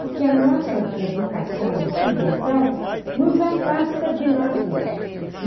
Porque a nossa educação ocidental nos afasta de nós mesmos.